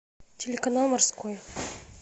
телеканал морской